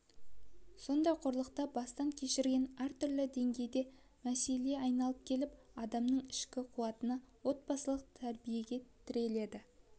сондай қорлықты бастан кешірген әртүрлі деңгейде мәселе айналып келіп адамның ішкі қуатына отбасылық тәрбиеге тіреледі